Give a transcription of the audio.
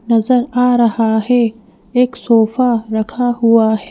नजर आ रहा है एक सोफा रखा हुआ है।